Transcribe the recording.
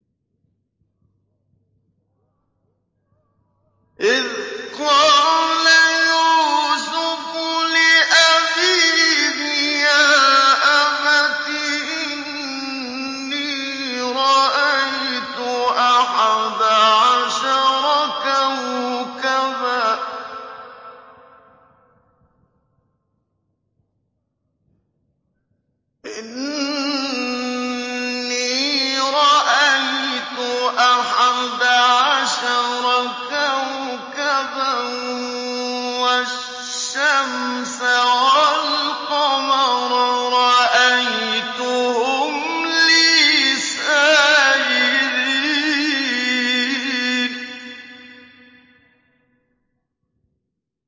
إِذْ قَالَ يُوسُفُ لِأَبِيهِ يَا أَبَتِ إِنِّي رَأَيْتُ أَحَدَ عَشَرَ كَوْكَبًا وَالشَّمْسَ وَالْقَمَرَ رَأَيْتُهُمْ لِي سَاجِدِينَ